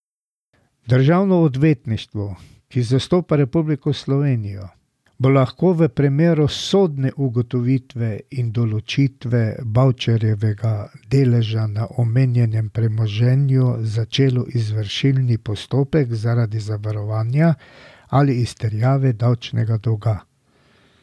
Državno odvetništvo, ki zastopa Republiko Slovenijo, bo lahko v primeru sodne ugotovitve in določitve Bavčarjevega deleža na omenjenem premoženju začelo izvršilni postopek zaradi zavarovanja ali izterjave davčnega dolga.